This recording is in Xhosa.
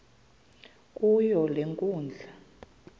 kuyo le nkundla